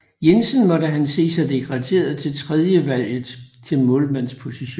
Jensen måtte han se sig degraderet til tredjevalget til målmandsposten